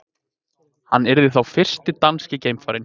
Hann yrði þá fyrsti danski geimfarinn